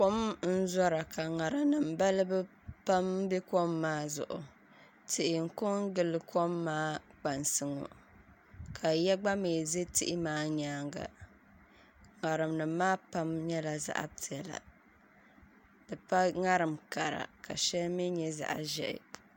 Kom n zora ka ŋarim nim balibu pam bɛ kom maa zuɣu tihi n ko n gili kom maa kpansi ŋo ka yiya gba mii ʒɛ tihi maa nyaanga ŋarim nim maa shɛŋa nyɛla zaɣ piɛla di pa ŋarim kara ka shɛli mii nyɛ zaŋ ʒiɛhi